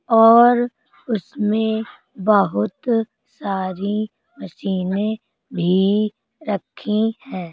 और उसमे बहुत सारी मशीने भी रखी है।